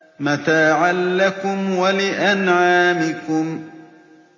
مَتَاعًا لَّكُمْ وَلِأَنْعَامِكُمْ